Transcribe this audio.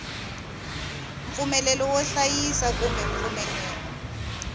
mpfumelelo wo hlayisa kumbe mpfumelelo